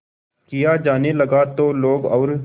किया जाने लगा तो लोग और